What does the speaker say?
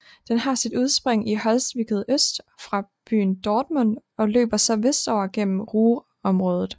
Den har sit udspring i Holzwickede øst for byen Dortmund og løber så vestover gennem Ruhrområdet